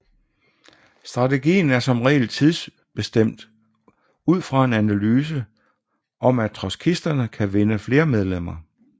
Strategien er som regel tidsbestemt ud fra en analyse af om trotskisterne kan vinde flere medlemmer